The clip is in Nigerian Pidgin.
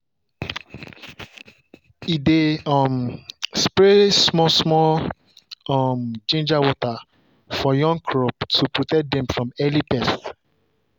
e dey um spray small-small um ginger water for young crop to protect dem from early pest.